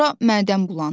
Sonra mədəm bulandı.